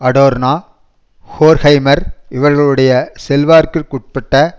Adorno Horkheimer இவர்களுடைய செல்வாக்கிற்குட்பட்ட